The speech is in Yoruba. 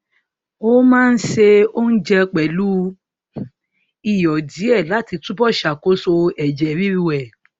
o máa ń ṣe oúnjẹ pẹlú iyọ díẹ láti túbọ ṣàkóso ẹjẹ ríru ẹ